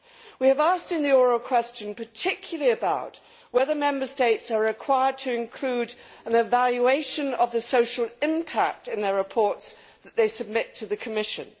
We have asked in our oral question particularly about whether Member States are required to include an evaluation of the social impact in their reports that they submit to the Commission.